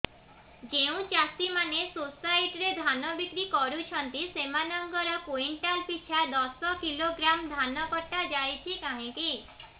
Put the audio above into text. ଯେଉଁ ଚାଷୀ ମାନେ ସୋସାଇଟି ରେ ଧାନ ବିକ୍ରି କରୁଛନ୍ତି ସେମାନଙ୍କର କୁଇଣ୍ଟାଲ ପିଛା ଦଶ କିଲୋଗ୍ରାମ ଧାନ କଟା ଯାଉଛି କାହିଁକି